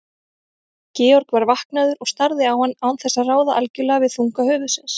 Georg var vaknaður og starði á hann án þess að ráða algjörlega við þunga höfuðsins.